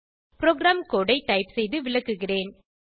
program code ஐ type செய்து விளக்குகிறேன்